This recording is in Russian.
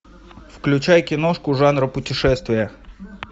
включай киношку жанра путешествия